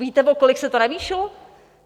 Víte, o kolik se to navýšilo?